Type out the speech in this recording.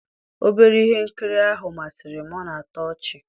obere ihe nkiri ahụ masịrị m, ọ na-atọ ọchị